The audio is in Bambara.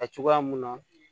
Ka cogoya mun na